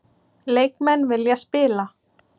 Leikmenn vilja spila